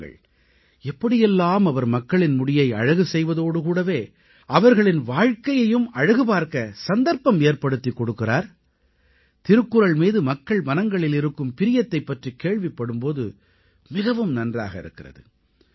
பாருங்கள் எப்படியெல்லாம் அவர் மக்களின் முடியை அழகு செய்வதோடு கூடவே அவர்களின் வாழ்க்கையையும் அழகுபார்க்க சந்தர்ப்பம் ஏற்படுத்திக் கொடுக்கிறார் திருக்குறள் மீது மக்கள் மனங்களில் இருக்கும் பிரியத்தைப் பற்றிக் கேள்விப்படும் போது மிகவும் நன்றாக இருக்கிறது